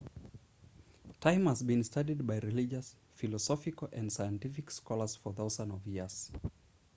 time has been studied by religious philosophical and scientific scholars for thousands of years